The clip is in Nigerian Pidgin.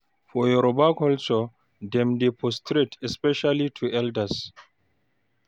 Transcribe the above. For Yoruba culture, dem dey prostrate especially to elders